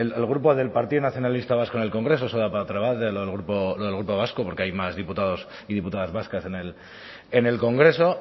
el grupo del partido nacionalista vasco en el congreso del grupo vasco porque hay más diputados y diputadas vascas en el congreso